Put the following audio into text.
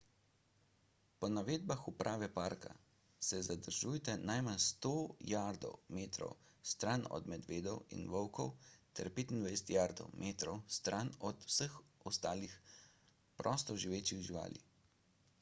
po navedbah uprave parka se zadržujte najmanj 100 jardov/metrov stran od medvedov in volkov ter 25 jardov/metrov stran od vseh ostalih prostoživečih živali